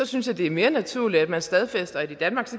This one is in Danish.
synes jeg det er mere naturligt at man stadfæster at i danmark